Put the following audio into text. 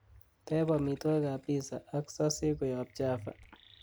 teeb amitwogik ab piza ak sosej koyob java